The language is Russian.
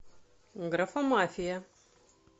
графомафия